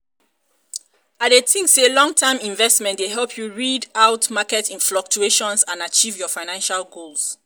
i dey think say long-term investing dey help you rid out market fluctuations and achieve your financial goals.